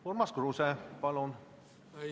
Urmas Kruuse, palun!